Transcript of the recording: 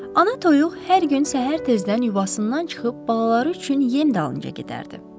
Ana toyuq hər gün səhər tezdən yuvasından çıxıb balaları üçün yem dalınca gedərdi.